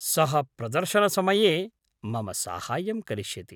सः प्रदर्शनसमये मम साहाय्यं करिष्यति।